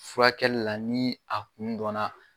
Furakɛli la ni a kun dɔnna.